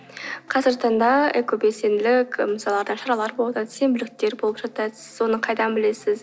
қазіргі таңда экобелсенділік мысалға сенбіліктер болып жатады сіз оны қайдан білесіз